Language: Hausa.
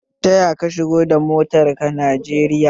Taya ka shigo da motar ka Najeriya?